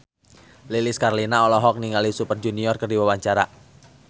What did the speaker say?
Lilis Karlina olohok ningali Super Junior keur diwawancara